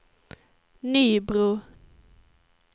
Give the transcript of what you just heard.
Nybro